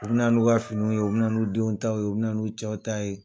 U bɛna n'u ka finiw ye u bɛna n'u denw ta ye u bɛna n'u cɛw ta ye